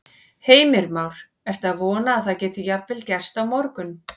Heimir Már: Ertu að vona að það geti jafnvel gerst á morgun?